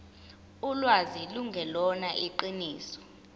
ulwazi lungelona iqiniso